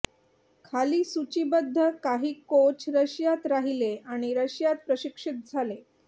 खाली सूचीबद्ध काही कोच रशियात राहिले आणि रशियात प्रशिक्षित झाले